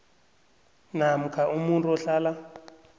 namkha umuntu ohlala